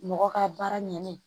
Mɔgɔ ka baara ɲɛnnen